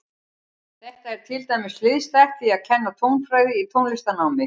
Þetta er til dæmis hliðstætt því að kenna tónfræði í tónlistarnámi.